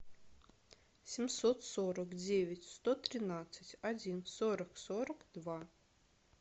семьсот сорок девять сто тринадцать один сорок сорок два